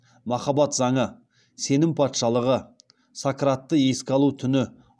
махаббат заңы сенім патшалығы сократты еске алу түні